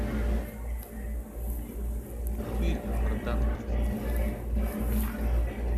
фильм про танкистов